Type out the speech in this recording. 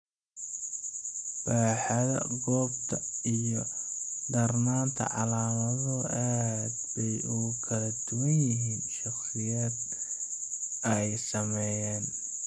Baaxadda, goobta, iyo darnaanta calaamaduhu aad bay ugu kala duwan yihiin shakhsiyaadka ay saameeyeen.